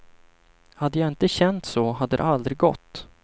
Hade jag inte känt så hade det aldrig gått.